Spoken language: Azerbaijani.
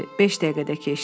Beş dəqiqə də keçdi.